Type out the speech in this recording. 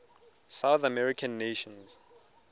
south american nations